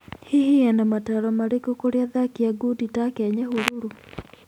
Hihi ena mataaro marĩkũ kũrĩ athaki a ngudi take a Nyahururu?